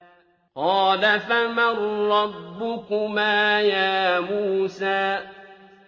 قَالَ فَمَن رَّبُّكُمَا يَا مُوسَىٰ